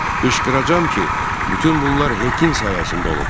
Qışqıracam ki, bütün bunlar Hekin sayəsində olub.